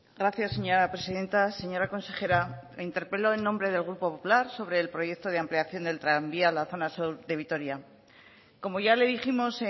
gracias señora presidenta señora consejera la interpelo en nombre del grupo popular sobre el proyecto de ampliación del tranvía a la zona sur de vitoria como ya le dijimos